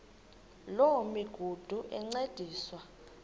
loo migudu encediswa